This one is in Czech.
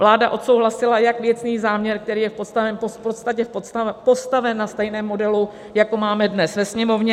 Vláda odsouhlasila jak věcný záměr, který je v podstatě postaven na stejném modelu, jako máme dnes ve Sněmovně.